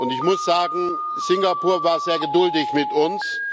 Ich muss sagen, Singapur war sehr geduldig mit uns.